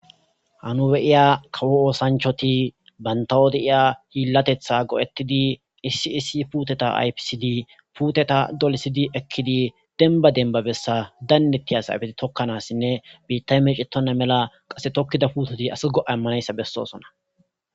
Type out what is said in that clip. hanu beyiya kawo oosanchoti bantawo deiya hiillatetha go7ettidi issi issi puuteta aypisidi puuteta dolisidi ekkidi denba denbabessa daynneti a sayfeti tokkanassinne biittay meecetonna mela qase tokkida putoti asi go7a immanayssa bessosona